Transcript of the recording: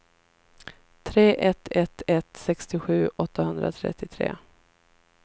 tre ett ett ett sextiosju åttahundratrettiotre